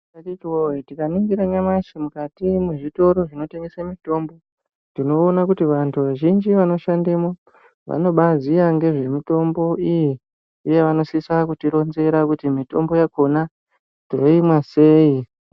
Akhiti woye, tikaningira nyamashi mukati mezvitoro zvinotengeswe mitombo, tinoone kuti vantu vazhinji vanoshandemo vanobaziye ngezvemitombo iyi, uye vanosisa kutironzera kuti mitombo yakhona tinoimwa sei.